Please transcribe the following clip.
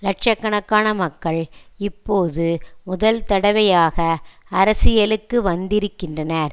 லட்ச கணக்கான மக்கள் இப்போது முதல் தடவையாக அரசியலுக்கு வந்திருக்கின்றனர்